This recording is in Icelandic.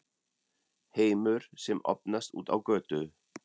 HEIMUR SEM OPNAST ÚT Á GÖTU